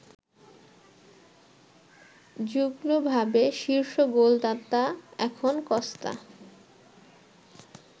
যুগ্মভাবে শীর্ষ গোলদাতা এখন কস্তা